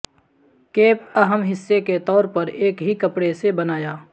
cap اہم حصے کے طور پر ایک ہی کپڑے سے بنایا